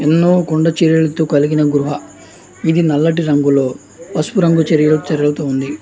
ఎన్నో కొండ చర్యలతో కలిగిన గుహ నల్లటి రంగు తో ఎన్నో పసుపు రంగుతో కలిగినట్టు వంటి గుహ.